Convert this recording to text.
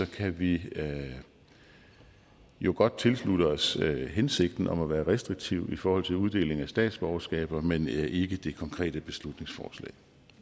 kan vi jo godt tilslutte os hensigten om at være restriktiv i forhold til uddeling af statsborgerskaber men ikke det konkrete beslutningsforslag